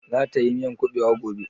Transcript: Za ta yi miyan kuɓewa gobe?